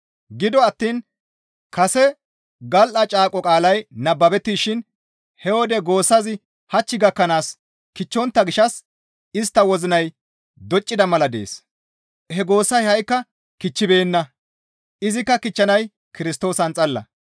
Gido attiin kase gal7a caaqo qaalay nababettishin he wode goossazi hach gakkanaas kichchontta gishshas istta wozinay doccida mala dees; he goossay ha7ikka kichchibeenna; izikka kichchanay Kirstoosan xalla.